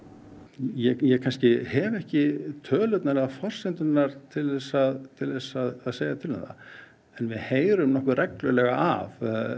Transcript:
ég hef ekki tölurnar eða forsendurnar til að til að segja til um það en við heyrum reglulega af